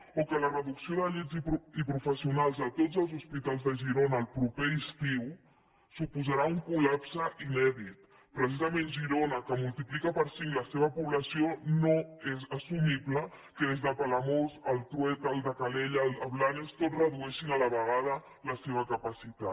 o que la reducció de llits i professionals de tots els hospitals de girona el proper estiu suposarà un col·lapse inèdit precisament a girona que multiplica per cinc la seva població no és assumible que des de palamós al trueta al de calella a blanes tots redueixin a la vegada la seva capacitat